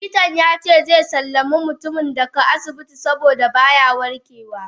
Likitan yace xe sallami mutumin daga asibitin saboda baya warkewa.